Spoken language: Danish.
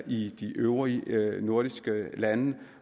i de øvrige nordiske lande